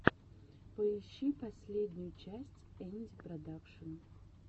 поищи последнюю часть энди продакшн